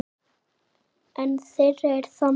Ein þeirra er þannig